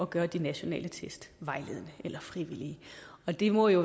gøre de nationale test vejledende eller frivillige det må jo